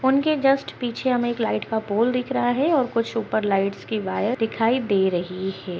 उनके जस्ट पीछे हमें एक लाइट का पोल दिख रहा है और ऊपर कुछ लाइट के वायर दिखाई दे रही है ।